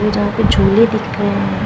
जहां पे झूले दिख रहे हैं।